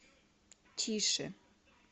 тише